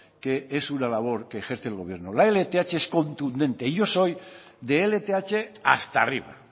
que es una labor que ejerce el gobierno la lth es contundente yo soy de lth hasta arriba